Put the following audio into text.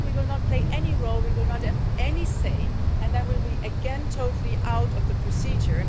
Later on we will not play any role, we will not have any say, and then we will again be totally out of the procedure.